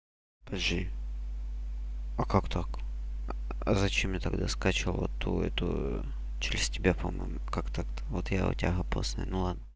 подожди а как так а зачем я тогда скачивала то это через тебя по-моему как так вот я у тебя просто ну ладно